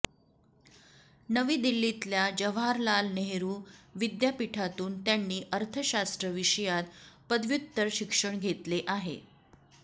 नवी दिल्लीतल्या जवाहरलाल नेहरु विद्यापीठातून त्यांनी अर्थशास्त्र विषयात पदव्युत्तर शिक्षण घेतले आहे